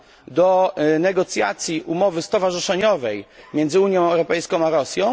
do negocjacji umowy stowarzyszeniowej między Unią Europejską a Rosją?